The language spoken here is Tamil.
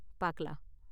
பாக்கலாம்!